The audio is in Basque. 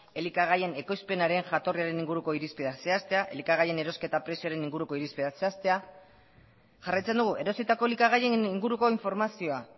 elikagaien ekoizpenaren jatorriaren inguruko irizpideak zehaztea elikagaien erosketa prezioaren inguruko irizpideak zehaztea jarraitzen dugu erositako elikagaien inguruko informazioa